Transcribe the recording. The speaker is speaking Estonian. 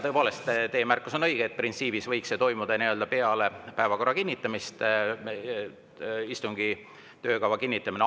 Tõepoolest, teie märkus on õige, et printsiibis võiks istungi töökava kinnitamine toimuda peale päevakorra kinnitamist.